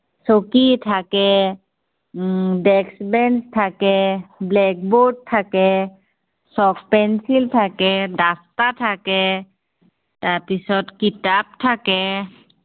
চকী থাকে. Um desk bench থাকে, black board থাাকে। চক পেঞ্চিল থাকে, duster থাকে। তাৰপিছত কিতাপ থাকে।